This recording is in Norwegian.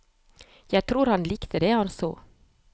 Jeg tror han likte det han så.